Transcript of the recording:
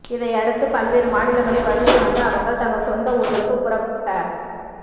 இதையடுத்து பல்வேறு மாநிலங்களில் வசித்து வந்த அவர்கள் தங்கள் சொந்த ஊர்களுக்கு புறப்ட